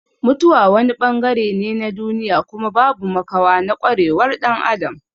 Mutuwa wani bangare ne na duniya kuma babu makawa na kwarewar dan Adam.